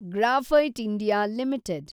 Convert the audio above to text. graphite India limited